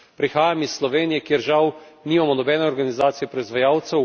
Prihajam iz Slovenije, kjer žal nimamo nobene organizacije proizvajalcev.